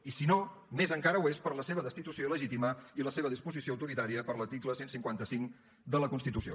i si no més encara ho és per la seva destitució il·legítima i la seva disposició autoritària per l’article cent i cinquanta cinc de la constitució